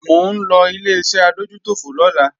Mò ń lọ Ileṣẹ́ adójútòfò lọ́la